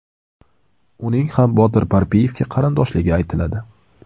Uning ham Botir Parpiyevga qarindoshligi aytiladi.